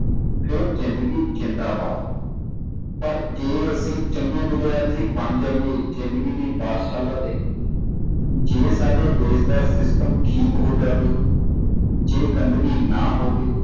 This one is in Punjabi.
ਫੇਰ ਜਿੰਦਗੀ ਜ਼ਿੰਦਾਬਾਦ ਪਰ ਜੇ ਅਸੀ ਚੰਗੇ ਵਿਦਿਆਰਥੀ ਬਣ ਜਾਈਏ ਜਿੰਦਗੀ ਦੀ ਪਾਠਸ਼ਾਲਾ ਦੇ ਜੇ ਸਾਡੇ ਦੇਸ਼ ਦਾ system ਠੀਕ ਹੋ ਜਾਵੇ ਜੇ ਗੰਦਗੀ ਨਾ ਹੋਵੇ